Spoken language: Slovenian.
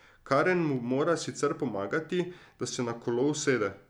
Karen mu mora sicer pomagati, da se na kolo usede.